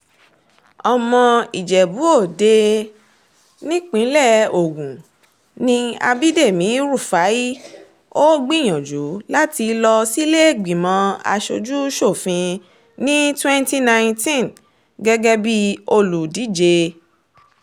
ọmọ ìjẹ́bú-òde nípínlẹ̀ ogun ni abidemi rufai ó gbìyànjú láti lọ sílé-ìgbìmọ̀ asojú sófin ní twenty nineteen gẹ́gẹ́ bíi olùdíje